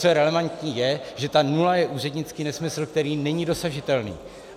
Co je relevantní, je, že ta nula je úřednický nesmysl, který není dosažitelný.